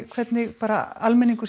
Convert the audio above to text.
hvernig almenningur